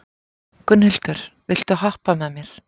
Gunnhildur, viltu hoppa með mér?